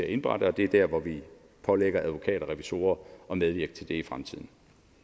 indberettes og det er der hvor vi pålægger advokater og revisorer at medvirke til det i fremtiden